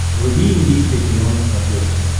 вруби индийское кино на смотрешке